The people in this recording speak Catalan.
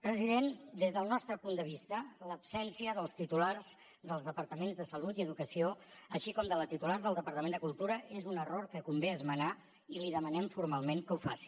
president des del nostre punt de vista l’absència dels titulars dels departaments de salut i educació així com de la titular del departament de cultura és un error que convé esmenar i li demanem formalment que ho faci